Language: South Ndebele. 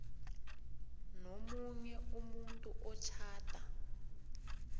nomunye umuntu otjhada